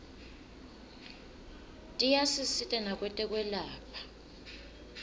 tiyasisita nakwetekwelapha